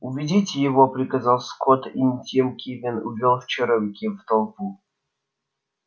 уведите его приказал скотт и тим кинен увёл чероки в толпу